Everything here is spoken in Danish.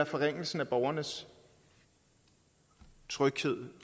forringelse af borgernes tryghed